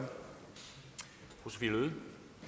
det